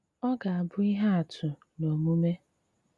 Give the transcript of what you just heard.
Ọ́ gà-àbụ́ íhé àtụ́ n’ómùmé.